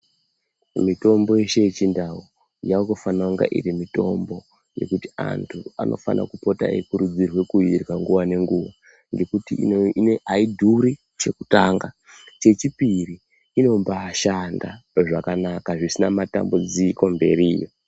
Mitombo yeshe yechindau yaakufana kunga iri mitombo yekuti antu anofana kupota eikurudzirwa kuirya nguva ngenguva. Ngekuti haidhuri, chekutanga, chechipiri inombaashanda zvakanaka zvisina matambudziko mberiyo.